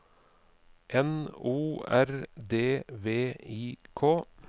N O R D V I K